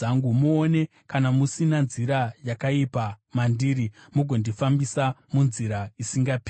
Muone kana musina nzira yakaipa mandiri, mugondifambisa munzira isingaperi.